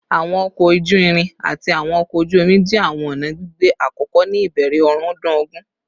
Awọn ọkọ oju-irin ati awọn ọkọ oju-omi jẹ awọn ọna gbigbe akọkọ ni ibẹrẹ ọrundun ogun